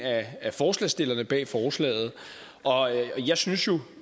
af forslagsstillerne bag forslaget og jeg synes